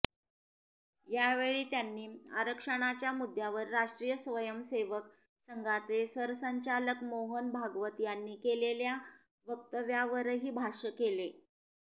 यावेळी त्यांनी आरक्षणाच्या मुद्यावर राष्ट्रीय स्वयंसेवक संघाचे सरसंघचालक मोहन भागवत यांनी केलेल्या वक्तव्यावरही भाष्य केले